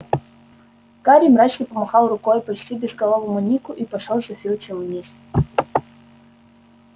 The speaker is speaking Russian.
гарри мрачно помахал рукой почти безголовому нику и пошёл за филчем вниз